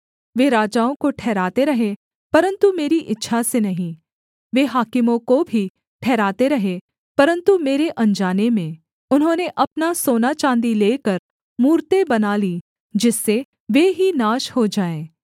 वे राजाओं को ठहराते रहे परन्तु मेरी इच्छा से नहीं वे हाकिमों को भी ठहराते रहे परन्तु मेरे अनजाने में उन्होंने अपना सोनाचाँदी लेकर मूरतें बना लीं जिससे वे ही नाश हो जाएँ